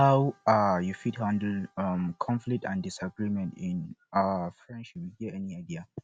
how um you fit handle um conflicts and disagreement in um friendship you get any idea